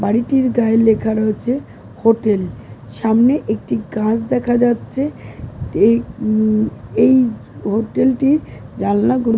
বাড়িটির গায়ে লেখা রয়েছে হোটেল । সামনে একটি গাছ দেখা যাচ্ছে । এই উম এই হোটেল -টির জানলা গুলো --